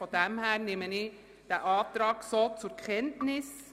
Insofern nehme ich diesen Antrag so zur Kenntnis.